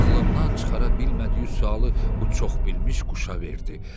Ağlından çıxara bilmədiyi sualı bu çoxbilmiş quşa verdi.